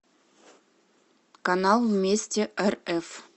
канал вместе рф